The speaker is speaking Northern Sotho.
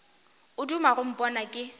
o duma go mpona ke